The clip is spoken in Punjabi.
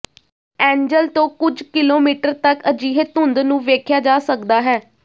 ਐਂਜਲ ਤੋਂ ਕੁਝ ਕਿਲੋਮੀਟਰ ਤੱਕ ਅਜਿਹੇ ਧੁੰਦ ਨੂੰ ਵੇਖਿਆ ਜਾ ਸਕਦਾ ਹੈ